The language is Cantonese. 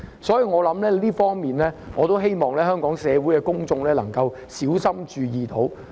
所以，我希望香港社會公眾可小心注意這一方面。